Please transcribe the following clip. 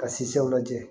Ka siw lajɛ